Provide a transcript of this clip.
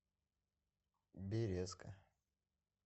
березка